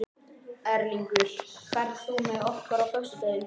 Erlingur, ferð þú með okkur á föstudaginn?